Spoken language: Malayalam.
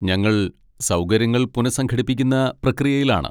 ഞങ്ങൾ സൗകര്യങ്ങൾ പുനഃസംഘടിപ്പിക്കുന്ന പ്രക്രിയയിലാണ്.